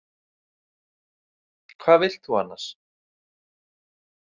Hvað vilt þú annars?